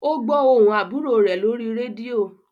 O gbó ohùn àbúrò rẹ lórí rédíò.